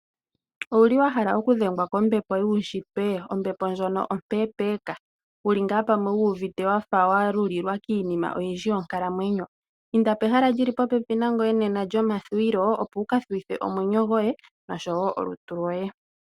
Owuli wa hala okudhengwa kombepo yuushitwe? Ombepo ndjono ompempeka, wuli ngaa pamwe wu uvite wa lulilwa kiinima oyindji yonkalamweyo? Inda pehala lyi li popepi nangoye lyomathuwilo, opo wu ka thuwithe omwenyo goye noshowo olutu loye.